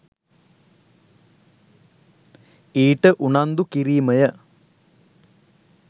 ඊට උනන්දු කිරීමය.